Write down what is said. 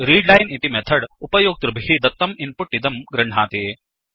readline इति method उपयोक्तृभिः दत्तं इन्पुट् इदं गृह्णाति